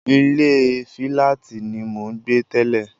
Ilé fíláàtì ni mò ń gbé tẹ́lẹ̀